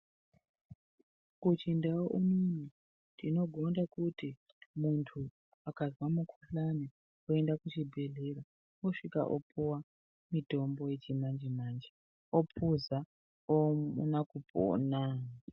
Kuchindau unono tinogone kuti muntu akazwe mukhuhlani oenda kuchibhedhlera oosvika opuwa mutombo wechimanje manje opuza ouna kupona.